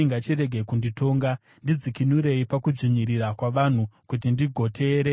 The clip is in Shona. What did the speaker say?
Ndidzikinurei pakudzvinyirira kwavanhu, kuti ndigoteerera zvirevo zvenyu.